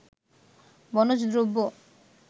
বনজ দ্রব্য